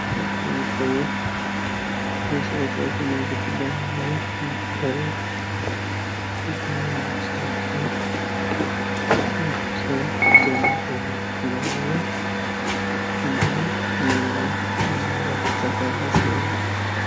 ይህ መሠረታዊ ፍላጎትን ለማሟላት የሚደረግ የግብርና ስራ ምን በምን ይከናወናል ? ምን ምን ይመረትበታል?